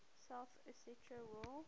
south ossetia war